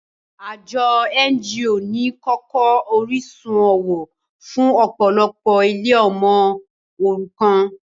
Àjọ NGO ni kókó orísun owó fún ọ̀pọ̀lọpọ̀ ilé ọmọ òrukàn